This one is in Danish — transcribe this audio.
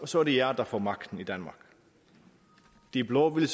så er det jer der får magten i danmark de blå ville